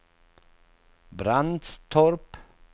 Brandstorp